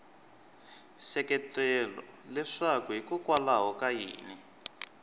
seketela leswaku hikokwalaho ka yini